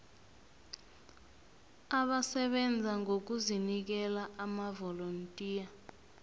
abasebenza ngokuzinikela amavolontiya